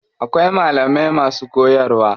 Akwai malamai masu koyarwa.